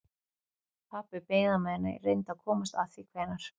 Pabbi beið á meðan ég reyndi að komast að því hvenær